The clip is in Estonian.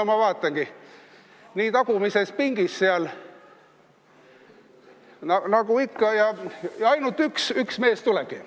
No ma vaatangi, tagumises pingis seal nagu ikka, ja ainult üks mees tulebki.